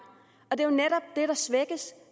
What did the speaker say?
det er netop det der svækkes